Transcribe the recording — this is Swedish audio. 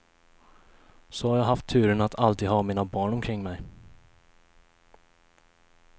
Så har jag haft turen att alltid ha mina barn omkring mig.